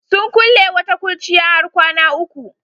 Sun kulle wata kurciya har kwana uku.